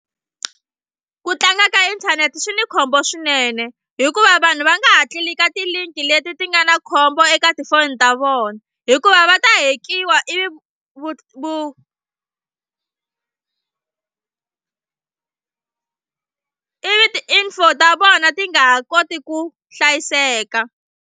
Ku tlanga ka inthanete swi ni khombo swinene hikuva vanhu va nga ha click-a ti-link leti ti nga na khombo eka tifoni ta vona hikuva va ta hack-iwa ivi vu vu ivi info ta vona ti nga ha koti ku hlayiseka.